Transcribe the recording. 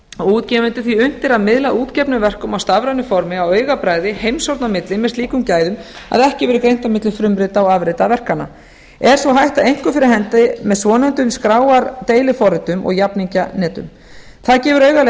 og útgefendur því unnt er að miðla útgefnum verkum á stafrænu formi á augabragði heimshorna á milli með slíkum gæðum að ekki verður greint á milli frumrita og afrita verkanna er sú hætta einkum fyrir hendi með svonefndum skráardeiliforritum og jafningjanetum það gefur augaleið